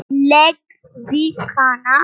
Lék við hana.